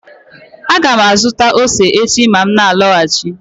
Aga m azụta ose echi ma m na-alọghachi